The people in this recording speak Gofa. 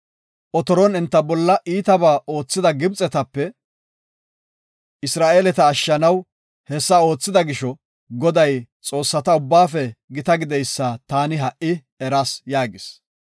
Otoron enta bolla iitaba oothida Gibxetape Isra7eeleta ashshanaw hessa oothida gisho, Goday xoossata ubbaafe gita gideysa taani ha77i eras” yaagis.